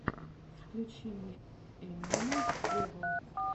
включи мне эминема вево